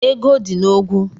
Ego dị na ogwu.